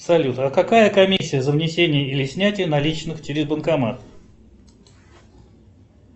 салют а какая комиссия за внесение или снятие наличных через банкомат